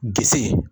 Disi